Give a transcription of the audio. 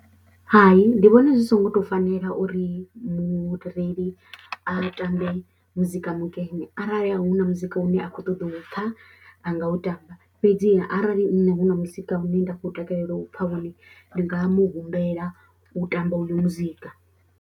Ha, i ndi vhona zwi songo tou fanela uri mureili a tambe muzika mukene arali hu na muzika une a khou ṱoḓa u pfha a nga u tamba fhedziha arali nṋe hu na muzika une nda khou takalela u pfha wone ndi nga mu humbela u tamba uyo muzika.